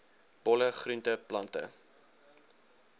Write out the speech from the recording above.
bolle groente plante